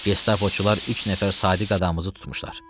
Gestapoçular üç nəfər sadiq adamımızı tutmuşlar.